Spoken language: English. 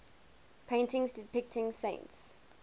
paintings depicting saints